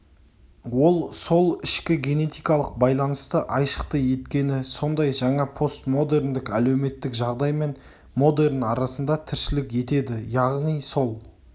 ол сол ішкі генетикалық байланысты айшықты еткені сондай жаңа постмодерндік әлеуметтік жағдай мен модерн арасында тіршілік етеді яғни сол